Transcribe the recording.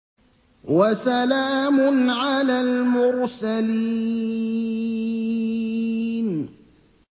وَسَلَامٌ عَلَى الْمُرْسَلِينَ